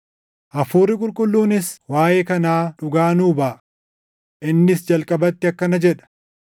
Hafuurri Qulqulluunis waaʼee kanaa dhugaa nuu baʼa. Innis jalqabatti akkana jedha: